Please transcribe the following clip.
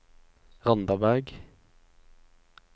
Randaberg